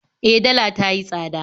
E, dala ta yi tsada